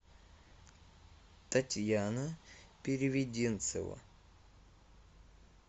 татьяна переведенцева